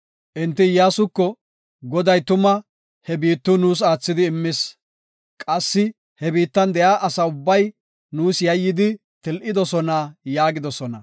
Enti Iyyasuko, “Goday tuma he biittiw nuus aathidi immis. Qassi he biittan de7iya asa ubbay, nuus yayyidi til7idosona” yaagidosona.